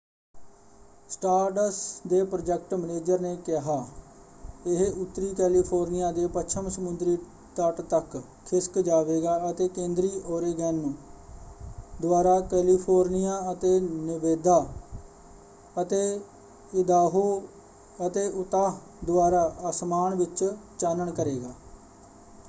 ਸਟਾਰਡਸ ਦੇ project manager ਨੇ ਕਿਹਾ ਇਹ ਉੱਤਰੀ ਕੈਲੀਫੋਰਨੀਆ ਦੇ ਪੱਛਮ ਸਮੁੰਦਰੀ ਤਟ ਤੱਕ ਖਿਸਕ ਜਾਵੇਗਾ ਅਤੇ ਕੇਂਦਰੀ ਓਰੇਗੋਨ ਦੁਆਰਾ ਕੈਲੀਫੋਰਨੀਆ ਅਤੇ ਨੇਵਾਦਾ ਅਤੇ ਇਦਾਹੋ ਅਤੇ ਉਤਾਹ ਦੁਆਰਾ ਆਸਮਾਨ ਵਿੱਚ ਚਾਨਣ ਕਰੇਗਾ।